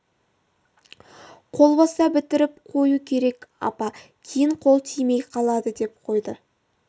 қол боста бітіріп қою керек апа кейін қол тимей қалады деп қойды